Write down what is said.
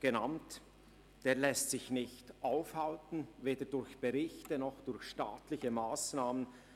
darauf hingewiesen – lässt sich nicht aufhalten, weder durch Berichte noch durch staatliche Massnahmen.